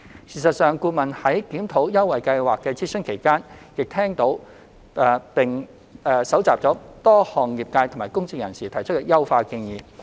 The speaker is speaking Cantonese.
事實上，顧問在檢討優惠計劃的諮詢期間，亦聽取並收集了多項業界和公眾人士提出的優化建議。